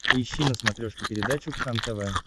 поищи на смотрешке передачу кхлм тв